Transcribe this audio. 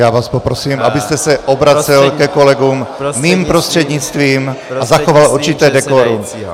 Já vás poprosím, abyste se obracel ke kolegům mým prostřednictvím a zachoval určité dekorum.